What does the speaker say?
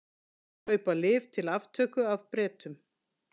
Kaupa lyf til aftöku af Bretum